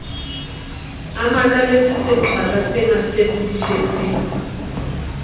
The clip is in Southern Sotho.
a makaletse seqhwalasena se pudufetseng